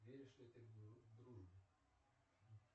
веришь ли ты в дружбу